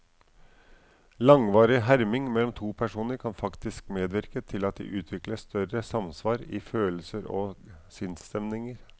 Langvarig herming mellom to personer kan faktisk medvirke til at de utvikler større samsvar i følelser og sinnsstemninger.